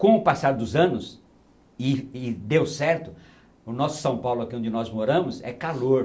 Com o passar dos anos, e e deu certo, o nosso São Paulo aqui onde nós moramos é calor.